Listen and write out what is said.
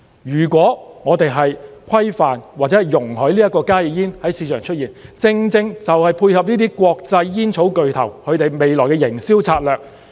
如果我們規範或容許加熱煙在市場出現，正正就是配合這些國際煙草巨頭未來的營銷策略。